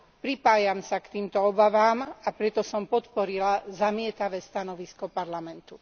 Pripájam sa k týmto obavám, a preto som podporila zamietavé stanovisko Parlamentu.